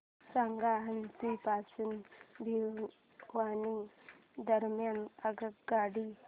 सांगा हान्सी पासून भिवानी दरम्यान आगगाडी